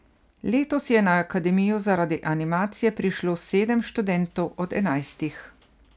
Letos je na akademijo zaradi animacije prišlo sedem študentov od enajstih.